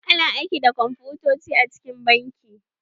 A na aiki da kwamfutoci a cikin banki.